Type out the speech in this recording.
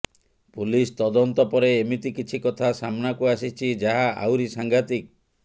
police ତଦନ୍ତ ପରେ ଏମିତି କିଛି କଥା ସାମ୍ନାକୁ ଆସିଛି ଯାହା ଆହୁରି ସାଂଘାତିକ